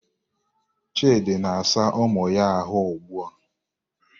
Chidi na-asa ụmụ ya ahụ ugbua.